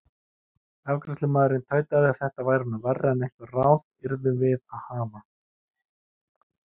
Afgreiðslumaðurinn tautaði að þetta væri nú verra en einhver ráð yrðum við að hafa.